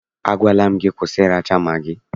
Agwala m gị, kwụsị ịracha magị!